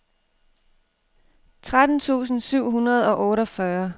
tretten tusind syv hundrede og otteogfyrre